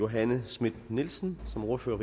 johanne schmidt nielsen som ordfører